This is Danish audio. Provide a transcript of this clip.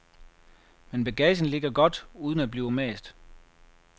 Men bagagen ligger godt, uden at blive mast.